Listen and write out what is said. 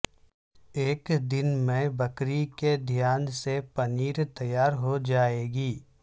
ایک دن میں بکری کے دھیان سے پنیر تیار ہو جائے گی